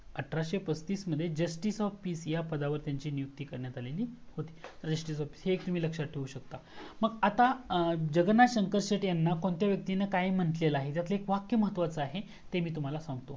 अठराशे पस्तीस मध्ये justice of peace ह्या पदावर त्याची नियुक्ती करण्यात आलेली होती परीक्षेसाठी हे तुमी लक्षात ठेवू सकता मग आता जगन्नाथ शंकर शेटे यांना कोणत्या व्यक्ति ने काय मंटलेल आहे हे वाक्य महत्वाचा आहे ते मी तुम्हाला सांगतो